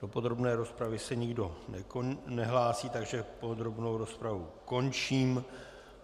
Do podrobné rozpravy se nikdo nehlásí, takže podrobnou rozpravu končím.